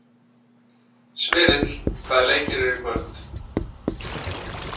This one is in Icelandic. Smyrill, hvaða leikir eru í kvöld?